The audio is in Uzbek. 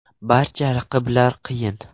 Barcha raqiblar qiyin.